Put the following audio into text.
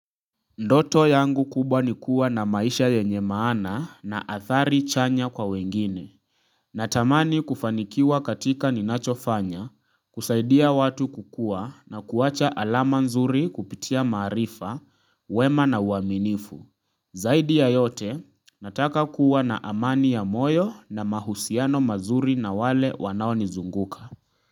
Ndoto yangu kubwa ni kuwa na maisha yenye maana na athari chanya kwa wengine. Natamani kufanikiwa katika ninachofanya, kusaidia watu kukua na kuwacha alama nzuri kupitia maarifa, wema na uaminifu. Zaidi ya yote, nataka kuwa na amani ya moyo na mahusiano mazuri na wale wanaonizunguka.